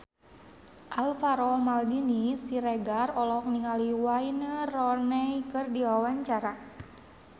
Alvaro Maldini Siregar olohok ningali Wayne Rooney keur diwawancara